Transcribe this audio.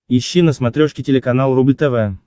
ищи на смотрешке телеканал рубль тв